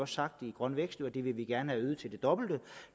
sagt i grøn vækst at vi gerne det øget til det dobbelte